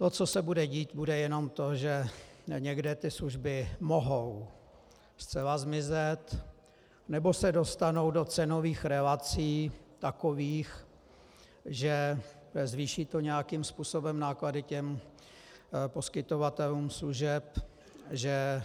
To, co se bude dít, bude jenom to, že někde ty služby mohou zcela zmizet, nebo se dostanou do cenových relací takových, že zvýší to nějakým způsobem náklady těm poskytovatelům služeb, že